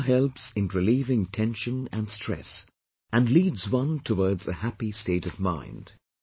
Yoga helps in relieving tension and stress, and leads one towards a happy state of mind